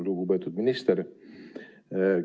Lugupeetud minister!